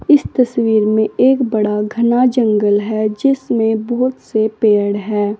इस तस्वीर में एक बड़ा घना जंगल है जिसमें बहुत से पेड़ है।